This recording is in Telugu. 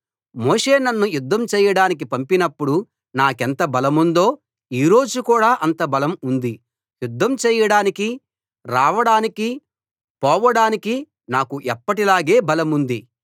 మోషే నన్ను యుద్ధం చేయడానికీ పంపినప్పుడు నాకెంత బలముందో ఈ రోజు కూడా అంత బలం ఉంది యుద్ధం చేయడానికీ రావడానికీ పోవడానికీ నాకు ఎప్పటిలాగా బలముంది